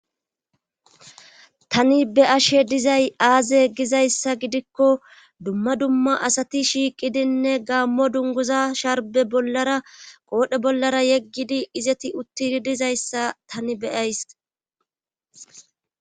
Tani be ashe dizay aaze gizayssa gidikko dumma dumma asati shiiqidinne gaammo dunguza sharbe bollara qoodhe bollara yeggidi izeti uttii dizayssa tani beyays.